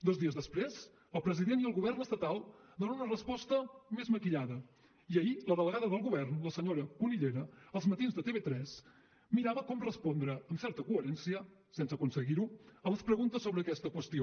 dos dies després el president i el govern estatal donen una resposta més maquillada i ahir la delegada del govern la senyora cunillera a els matins de tv3 mirava com respondre amb certa coherència sense aconseguir ho a les preguntes sobre aquesta qüestió